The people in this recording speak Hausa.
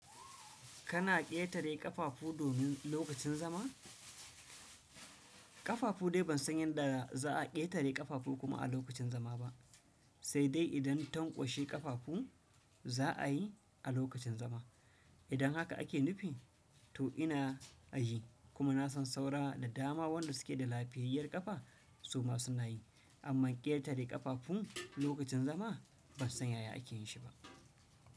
Kana ƙetare ƙafafu domin lokacin zama? Ƙafafu dai ban san yadda za a ƙetare ƙafafu kuma a lokacin zama ba. Sai dai idan tankwashe ƙafafu za a yi a lokacin zama. Idan haka ake nufi to ina a yi kuma na san saura da dama wanda suke da lafiyayyar ƙafa su ma suna yi. Amma ƙetare ƙafafun lokacin zama ban san yaya ake yinshi ba.